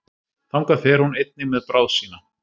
þangað fer hún einnig með bráð sína